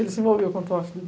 Ele se envolveu com o tráfico.